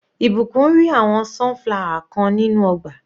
Ìbùkún ri àwọn sunflower kan nínú ọgbà.